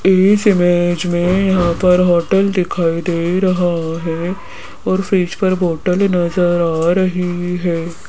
इस इमेज में यहां पर होटल दिखाई दे रहा है और फ्रिज बॉटल नजर आ रही है।